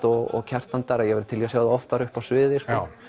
og Kjartan ég væri til í að sjá þau oftar uppi á sviði